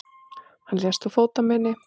Hann lést úr fótarmeini.